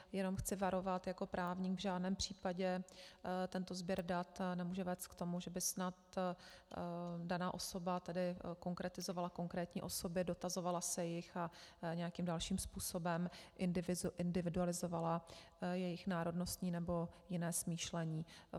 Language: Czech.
Jenom chci varovat jako právník, v žádném případě tento sběr dat nemůže vést k tomu, že by snad daná osoba tady konkretizovala konkrétní osoby, dotazovala se jich a nějakým dalším způsobem individualizovala jejich národnostní nebo jiné smýšlení.